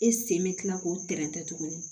E sen bɛ kila k'o tɛntɛn tuguni